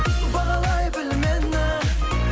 бағалай біл мені